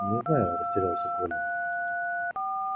не знаю растерялся коля